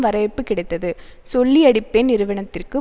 வரவேற்பு கிடைத்தது சொல்லியடிப்பேன் நிறுவனத்திற்கு